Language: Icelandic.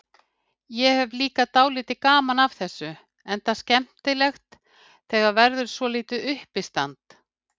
Ég hefi líka dálítið gaman af þessu, enda skemmtilegt þegar verður svolítið uppistand.